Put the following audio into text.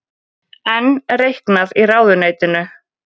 Enn reiknað í ráðuneytinu